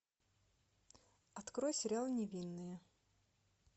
открой сериал невинные